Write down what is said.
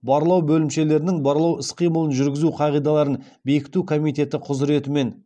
барлау бөлімшелерінің барлау іс қимылын жүргізу қағидаларын бекіту комитеті құзіретімен